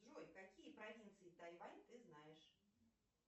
джой какие провинции тайвань ты знаешь